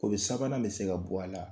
Kobi sabanan bɛ se ka bɔ a la